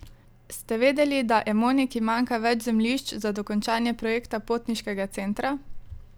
Ste vedeli, da Emoniki manjka več zemljišč za dokončanje projekta potniškega centra?